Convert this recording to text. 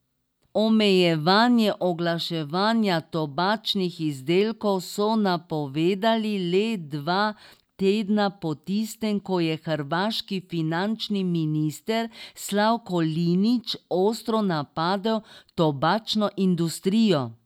Omejevanje oglaševanja tobačnih izdelkov so napovedali le dva tedna po tistem, ko je hrvaški finančni minister Slavko Linić ostro napadel tobačno industrijo.